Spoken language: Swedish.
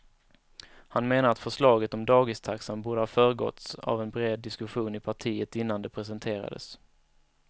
Han menar att förslaget om dagistaxan borde ha föregåtts av en bred diskussion i partiet innan det presenterades.